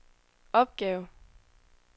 opgave